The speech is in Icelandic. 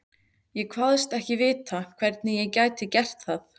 Ég kvaðst ekki vita, hvernig ég gæti gert það.